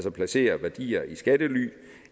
at placere værdier i skattely